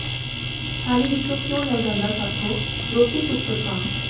ਥਾਲੀ ਵਿੱਚੋਂ ਕਿਉਂ ਲੈ ਜਾਂਦਾ ਸਾਥੋਂ ਰੋਟੀ ਟੁੱਕਰ ਕਾਂ